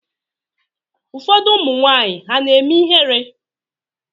Ụfọdụ ụmụnwanyị ha na-eme ihere?